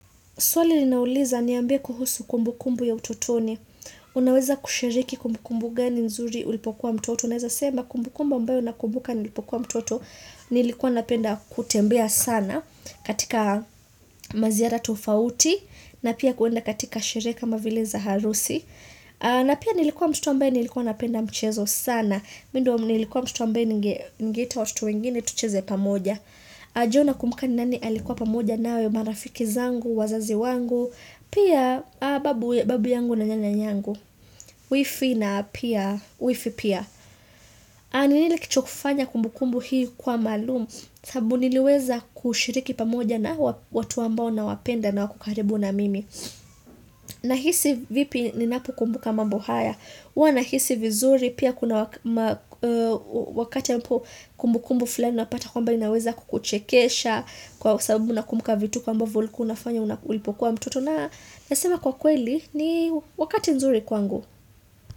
Swali ninauliza, niambia kuhusu kumbukumbu ya utotoni. Unaweza kushiriki kumbukumbu gani nzuri ulipokuwa mtoto. Naweza sema kumbukumbu ambayo nakumbuka nilipokuwa mtoto nilikuwa napenda kutembea sana katika maziyara tofauti. Na pia kuenda katika sherehe kama vile za harusi. Na pia nilikuwa mtoto ambaye alikuwa anapenda mchezo sana. Mimi ndiye nilikuwa mtoto ambaye ningeita watoto wengine tucheze pamoja. Najua nakumbuka nani alikuwa pamoja nawe marafiki zangu, wazazi wangu Pia babu yangu na nyanya yangu, wifi na pia wifi pia N ile kitu ya kufanya kumbukumbu hii kwa maalum sababu niliweza kushiriki pamoja na watu ambao nawapenda na wako karibu na mimi Nahisi vipi ninapokumbuka kama mambo haya Huwa nahisi vizuri. Pia kuna wakati ambapo kumbukumbu fulani unapata kwamba inaweza kukuchekesha kwa sababu unakumbuka vituko ambavyo ulikuwa unafanya ulipokuwa mtoto na nasema kwa kweli ni wakati nzuri kwangu.